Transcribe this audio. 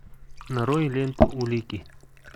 нарой ленту улики